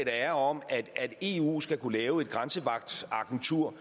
er om at eu skal kunne lave et grænsevagtagentur